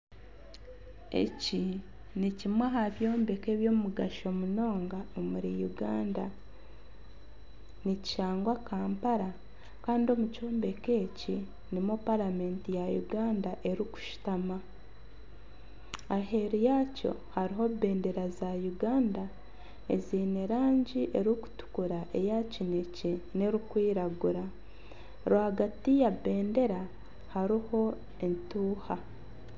Eki nikimwe aha byombeko ebyomugasho munonga omuri Uganda. Nikishangwa Kampala kandi omu kyombeko eki nimwo paramenti ya Uganda erikushutami. Aheeru yakyo hariho ebendera za Uganda eziine erangi erikutukura, eya kinakye n'erikwiragura. Rwagati ya bendera hariho entuuha.